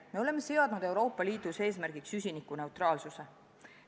Me oleme seadnud Euroopa Liidus eesmärgiks süsinikuneutraalsuse.